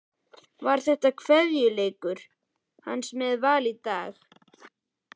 Var þetta kveðjuleikur hans með Val í dag?